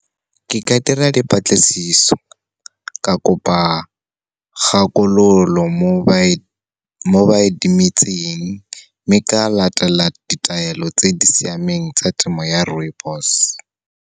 Ke ka dira dipatlisiso, ka kopa kgakololo mo ba e temetseng, mme ka latela ditaelo tse di siameng tsa temo ya rooibos.